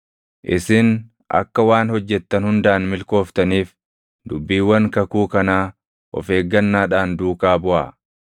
Isin akka waan hojjettan hundaan milkooftaniif dubbiiwwan kakuu kanaa of eeggannaadhaan duukaa buʼaa.